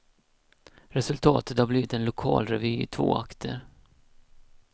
Resultatet har blivit en lokalrevy i två akter.